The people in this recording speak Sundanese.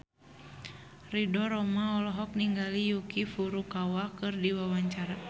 Ridho Roma olohok ningali Yuki Furukawa keur diwawancara